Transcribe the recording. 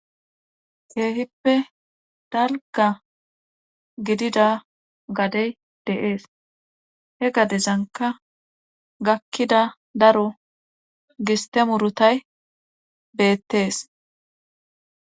Keehippe dalgga gidida gade de7es he gadezankka gaakida daro gistte murutay beettes.